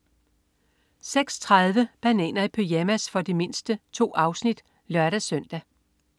06.30 Bananer i pyjamas. For de mindste. 2 afsnit (lør-søn)